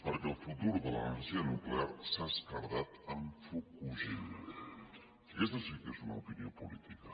perquè el futur de l’energia nuclear s’ha esquerdat amb fukushima aquesta sí que és una opinió política